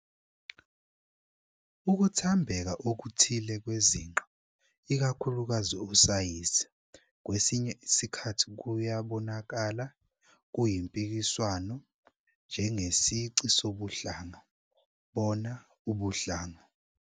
Ukuthambeka okuthile kwezinqa - ikakhulukazi usayizi - kwesinye isikhathi kuyabonakala, kuyimpikiswano, njengesici sobuhlanga, bona ubuhlanga.